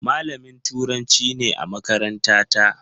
Malamin Turanci ne a makarantata.